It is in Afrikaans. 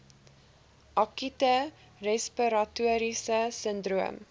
akute respiratoriese sindroom